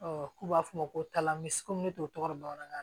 k'u b'a fɔ o ma ko talanbisi ko ne t'o tɔgɔ dɔn bamanankan na